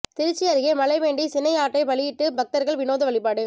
திருச்சி அருகே மழை வேண்டி சினை ஆட்டை பலியிட்டு பக்தர்கள் வினோத வழிபாடு